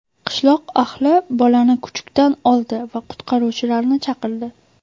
Qishloq ahli bolani kuchukdan oldi va qutqaruvchilarni chaqirdi.